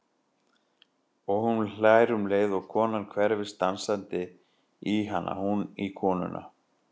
Og hún hlær um leið og konan hverfist dansandi í hana, hún í konuna.